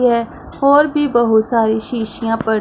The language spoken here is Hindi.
ये है और भी बहुत शीशियां पड़ी--